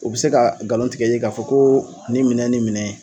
O bi se ka galon tigɛ i ye ka fɔ koo nin minɛn ni minɛn